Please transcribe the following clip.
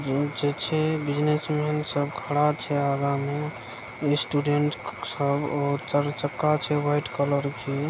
business man सब खड़ा छै आगा मे स्टूडेंट सब चार चक्का छै व्हाइट कलर के --